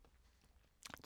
DR1